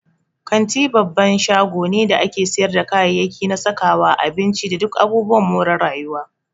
Kanti babban shago ne da ake siyarda kayayyaki na sakawa, abinci, da duk abubuwan more rayuwa.